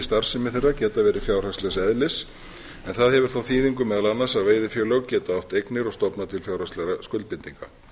starfsemi þeirra geta verið fjárhagslegs eðlis en það hefur þá þýðingu meðal annars að veiðifélög geta átt eignir og stofnað til fjárhagslegra skuldbindinga